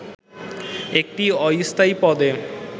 একটি অস্থায়ী পদে